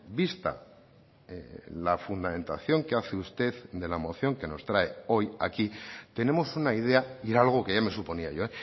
vista la fundamentación que hace usted de la moción que nos trae hoy aquí tenemos una idea y era algo que ya me suponía yo